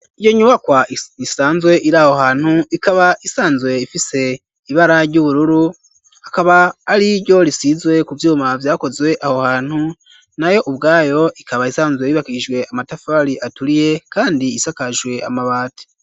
Iyo nyubakwa isanzwe iri aho hantu ikaba isanzwe ifise ibara ry'ubururu akaba ariryo risizwe ku vyuma vyakozwe aho hantu naho ubwaho ikaba isanzwe bibakijwe amatafari aturiye kandi isakajwe amabati.